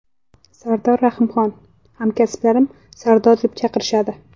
Sardor Rahimxon: Hamkasblarim Sardor deb chaqirishadi.